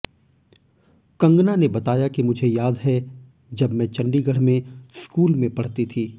कंगना ने बताया कि मुझे याद है जब मैं चंडीगढ़ में स्कूल में पढ़ती थी